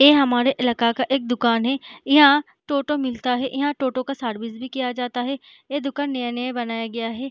ये हमारे इलाका का एक दुकान है यहाँ टोटो मिलता है यहाँ टोटो का सर्विस भी किया जाता है ये दुकान नया-नया बनाया गया है।